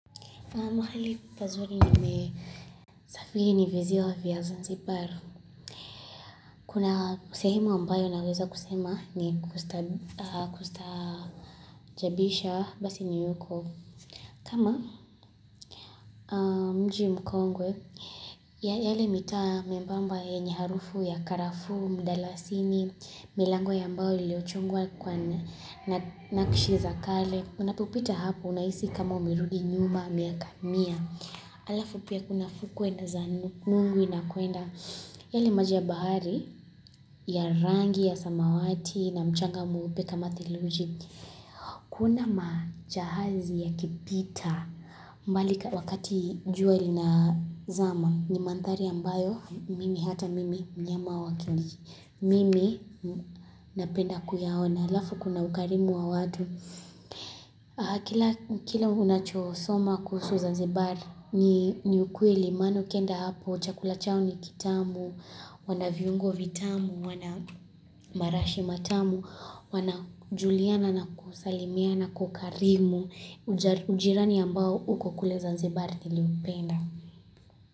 Mahali pazuri nimesafiri ni viziwa vya zanzibari. Kuna kusehemu ambayo naweza kusema ni kustaajabisha basi ni yuko. Kama mji mkongwe ya ele mita mbamba ya nya harufu ya karafu, mdalasini, milango ya ambayo iliochungwa kwa nakishiza kale. Unapupita hapo unaisi kama umirugi nyuma miaka mia Alafu pia kuna fukuenda za nungu inakuenda Yali maji ya bahari ya rangi ya samawati na mchanga muupeka mathiluji Kuna majahazi yakipita mbali wakati jua lina zama ni manthari ambayo mimi hata mimi nyama wakili Mimi napenda kuyahona Alafu kuna ukarimu wa wadu Kila unachosoma kuhusu Zanzibar ni ukweli, manu kenda hapo, chakula chao ni kitamu, wanaviungo vitamu, wanamarashi matamu, wanajuliana na kusalimiana kukarimu, ujirani ambao uko kule Zanzibar tiliupenda.